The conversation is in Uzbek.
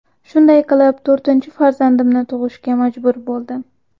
Shunday qilib to‘rtinchi farzandimni tug‘ishga majbur bo‘ldim.